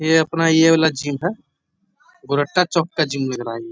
ये अपना ये वाला जिम है। गोरट्टा चौक का ज़िम लग रहा है ये।